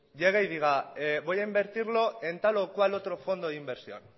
llega y diga voy a invertirlo en tal o cual otro fondo de inversión